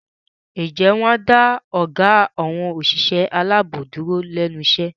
Ǹjẹ́ wọn á dá ọgá àwọn òṣìṣẹ́ aláàbò dúró lẹ́nu iṣẹ́?